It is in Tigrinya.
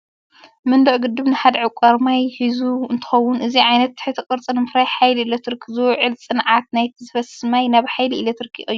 መንደቕ ግድብ ንሓደ ዕቋር ማይ ሒዙ እንትከውን፣ እዚ ዓይነት ትሕተ ቅርፂ ንምፍራይ ሓይሊ ኤሌክትሪክ ዝውዕል ጸዓት ናይቲ ዝፈስስ ማይ ናብ ሓይሊ ኤሌክትሪክ ይቕይሮ።